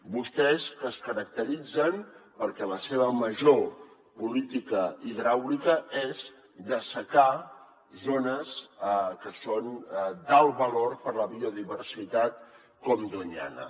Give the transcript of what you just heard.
vostès que es caracteritzen perquè la seva major política hidràulica és dessecar zones que són d’alt valor per a la biodiversitat com doñana